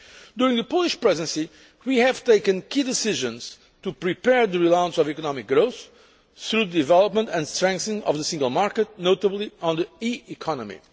During the Polish Presidency we have taken key decisions to prepare the relaunch of economic growth, through the development and strengthening of the single market, notably on the e economy.